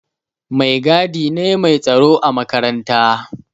Mai gadi ne mai tsaro a makaranta.